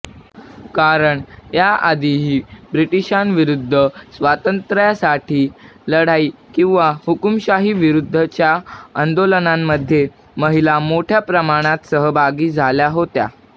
कारण याआधीही ब्रिटिशांविरुद्ध स्वातंत्र्यासाठीची लढाई किंवा हुकुमशाहांविरुद्धच्या आंदोलनांमध्ये महिला मोठ्या प्रमाणात सहभागी झाल्या होत्या